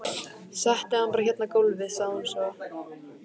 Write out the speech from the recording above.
Settu hann bara hérna á gólfið, sagði hún svo.